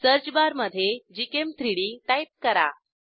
सर्चबारमधे gchem3डी टाईप करा